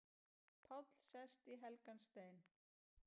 Páll sest í helgan stein